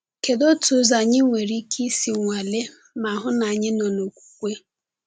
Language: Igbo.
Kedu otu ụzọ anyị nwere ike isi nwalee ma hụ ma anyị nọ n’okwukwe?